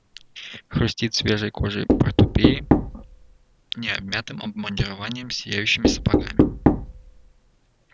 хрустит свежей кожей портупеи необмятым обмундированием сияющими сапогами